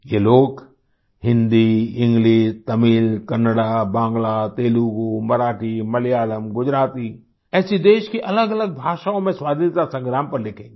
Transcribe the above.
ये लोग हिंदी इंग्लिश तमिल कन्नड़ा बांग्ला तेलुगू मराठी मलयालम गुजराती ऐसी देश की अलगअलग भाषाओँ में स्वाधीनता संग्राम पर लिखेंगें